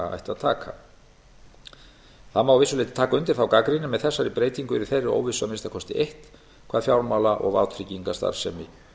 að taka það má að vissu leyti taka undir þá gagnrýni en með þessari breytingu yrði þeirri óvissu að minnsta kosti eytt hvað fjármála og vátryggingastarfsemi